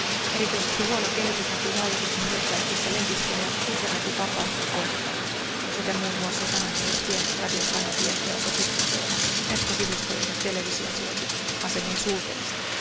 Erityisesti huono kehitys näkyy hallituksen hyökkäyksissä lehdistöä ja internetin vapautta kohtaan, sekä muun muassa sanomalehtien, radiokanavien, verkkosivustojen ja televisioasemien sulkemisena.